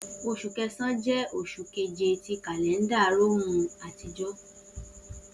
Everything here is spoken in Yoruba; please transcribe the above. Oṣu Kẹsan jẹ oṣu keje ti kalẹnda Romu atijọ